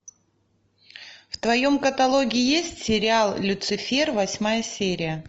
в твоем каталоге есть сериал люцифер восьмая серия